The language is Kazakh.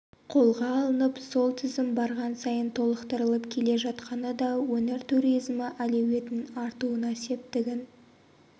қолға алынып сол тізім барған сайын толықтырылып келе жатқаны да өңір туризмі әлеуетінің артуына септігін